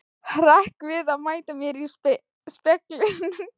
Hrekk við að mæta mér í speglinum.